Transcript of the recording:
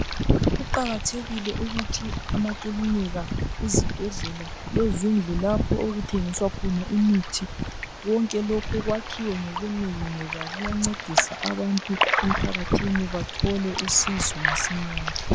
Kuqakathekile ukuthi amakilinika, izibhedlela lezindlu lapho okuthengiswa khona imithi konke lokhu kwakhiwe ngobunengi ngoba kuyancedisa abantu emphakathini bathole usizo masinyane.